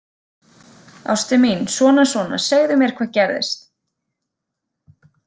Ástin mín, svona, svona, segðu mér hvað gerðist